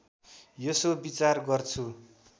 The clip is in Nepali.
यसो विचार गर्छु